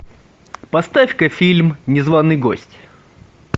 поставь ка фильм незваный гость